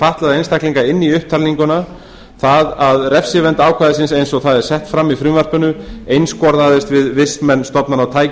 fatlaða einstaklinga inn í upptalninguna það að refsivernd ákvæðisins eins og það er sett fram í frumvarpinu einskorðaðist við vistmenn stofnana og tæki